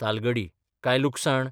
तालगडी काय लुकसाण?